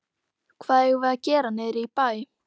Hvað eigum við að gera niðri í bæ?